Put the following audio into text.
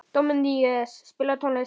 Díómedes, spilaðu tónlist.